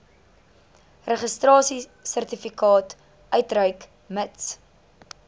registrasiesertifikaat uitreik mits